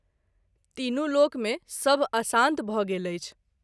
तीनू लोक मे सभ अशांत भ’ गेल अछि।